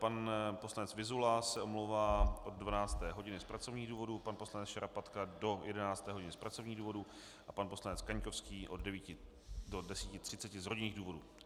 Pan poslanec Vyzula se omlouvá od 12. hodiny z pracovních důvodů, pan poslanec Šarapatka do 11. hodiny z pracovních důvodů a pan poslanec Kaňkovský od 9 do 10.30 z rodinných důvodů.